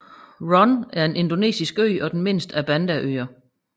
Run er en indonesisk ø og den mindste af Bandaøerne